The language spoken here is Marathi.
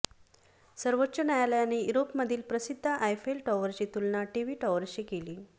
सर्वोच्च न्यायालयाने युरोपमधील प्रसिद्ध आयफेल टॉवरची तुलना टीव्ही टॉवरशी केली